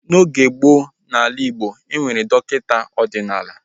N'oge gboo n'ala Igbo, ha nwere dọkịta ọdịnala